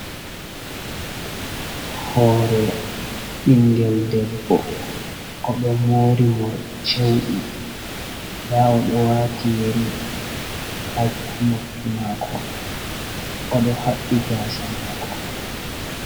Hore ɓingel ɗebbo oɗo mori moriɗi cewɗi. Nda oɗo wati yeri ha noppi mako. Oɗo habbi gasa mako.